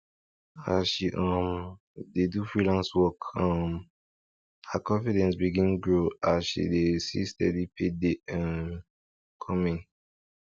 as she um dey do freelance work um her confidence begin grow as she dey see steady pay dey um come in